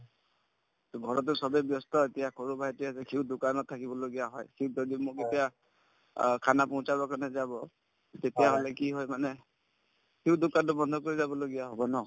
ঘৰতে চবে ব্যস্ত এতিয়া সৰু ভাইটি আছে সিও দোকানত থাকিব লগীয়া হয় সিক যদি মোক এতিয়া অ khana posh ৰ কাৰণে যাব তেতিয়াহলে কি হয় মানে সিও দোকানতো বন্ধ কৰি যাবলগীয়া হব ন